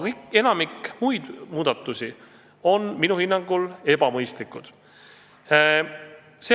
Enamik muid muudatusi on minu hinnangul aga ebamõistlikud.